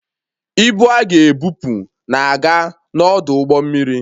Ibu a ga-ebupụ na-aga n'ọdụ ụgbọ mmiri